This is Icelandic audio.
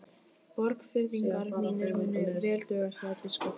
Borgfirðingar mínir munu vel duga, sagði biskup.